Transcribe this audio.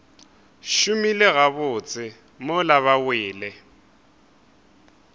šomile gabotse mola ba wele